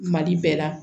Mali bɛɛ la